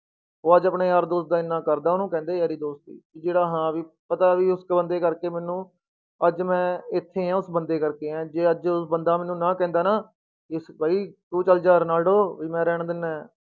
ਉਹ ਅੱਜ ਆਪਣੇ ਯਾਰ ਦੋਸਤ ਦਾ ਇੰਨਾ ਕਰਦਾ ਉਹਨੂੰ ਕਹਿੰਦੇ ਯਾਰੀ ਦੋਸਤੀ ਕਿ ਜਿਹੜਾ ਹਾਂ ਵੀ, ਪਤਾ ਵੀ ਉਸ ਬੰਦੇ ਕਰਕੇ ਮੈਨੂੰ ਅੱਜ ਮੈਂ ਇੱਥੇ ਹਾਂ ਉਸ ਬੰਦੇ ਕਰਕੇ ਹਾਂ, ਜੇ ਅੱਜ ਉਹ ਬੰਦਾ ਮੈਨੂੰ ਨਾ ਕਹਿੰਦਾ ਨਾ ਬਈ ਤੂੰ ਚੱਲ ਜਾ ਰੋਨਾਲਡੋ ਵੀ ਮੈਂ ਰਹਿਣ ਦਿਨਾ ਹੈ,